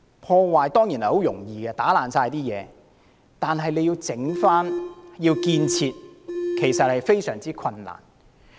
破壞當然容易，只需要把所有東西打破，但要修復和建設卻非常困難。